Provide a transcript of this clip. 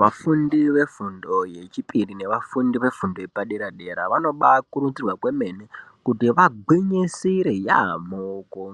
Vafundi vefundo yechipiri nevafundi vefundo vepadera dera vanobakurudzirwa kwemene kuti vagwinyisire yaamho